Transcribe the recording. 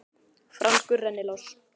Franskur rennilás?